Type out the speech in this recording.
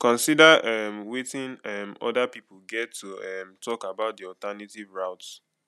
consider um weting um oda pipo get to um talk about di alternative route